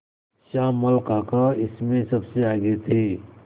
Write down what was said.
श्यामल काका इसमें सबसे आगे थे